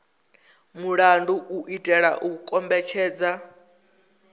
mulandu u itela u kombetshedza